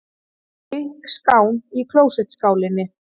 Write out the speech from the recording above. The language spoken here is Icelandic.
Þykk skán í klósettskálinni.